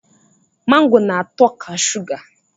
Mango na-atọ ka suga